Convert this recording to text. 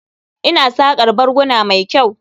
Ina saƙar barguna mai kyau.